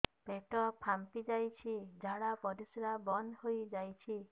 ପେଟ ଫାମ୍ପି ଯାଇଛି ଝାଡ଼ା ପରିସ୍ରା ବନ୍ଦ ହେଇଯାଇଛି